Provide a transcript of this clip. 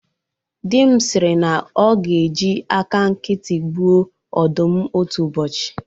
Di m sịrị na ọ ga-eji aka nkịtị gbuo ọdụm otu ụbọchị